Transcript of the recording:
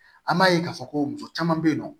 An b'a ye k'a fɔ ko muso caman bɛ yen nɔ